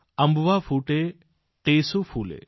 અમ્બવા ફૂટે દેસૂ ફૂલે